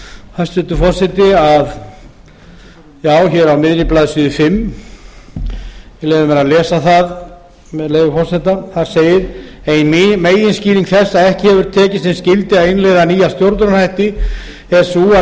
hæstvirtur forseti hér á miðri blaðsíðu fimmta ég leyfi mér að lesa það með leyfi forseta þar segir ein meginskýring þess að ekki hefur tekist sem skyldi að innleiða nýja stjórnunarhætti er sú að